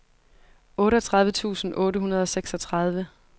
otteogtredive tusind otte hundrede og seksogtredive